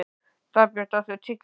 Dagbjört, áttu tyggjó?